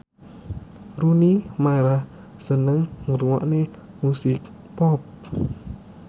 Rooney Mara seneng ngrungokne musik pop